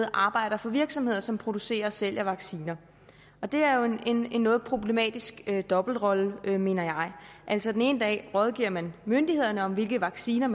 arbejder for virksomheder som producerer og sælger vacciner det er jo en en noget problematisk dobbeltrolle mener jeg altså den ene dag rådgiver man myndighederne om hvilke vacciner